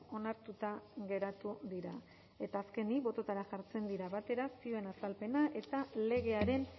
onartuta geratu dira eta azkenik bototara jartzen dira batera zioen azalpena eta legearen